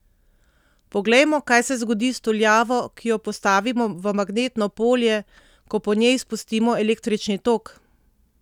Poglejmo, kaj se zgodi s tuljavo, ki jo postavimo v magnetno polje, ko po njej spustimo električni tok!